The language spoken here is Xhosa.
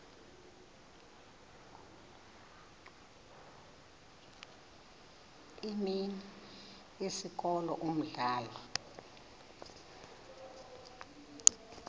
imini isikolo umdlalo